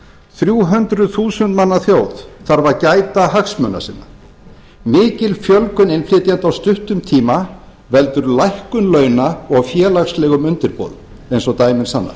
þrjú hundruð þúsund manna þjóð þarf að gæta hagsmuna sinna ekki fjölgun innflytjenda á stuttum tíma veldur lækkun launa og félagslegum undirboðum eins og dæmin sanna